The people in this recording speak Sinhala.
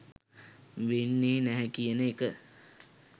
වෙන්නේ නැහැ කියන එක.